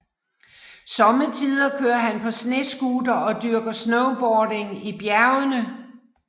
Sommetider kører han på snescooter og dyrker snowboarding i bjergene